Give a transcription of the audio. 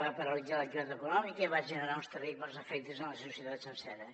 va paralitzar l’activitat econòmica i va generar uns terribles efectes en la societat sencera